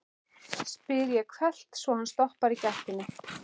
spyr ég hvellt, svo hann stoppar í gættinni.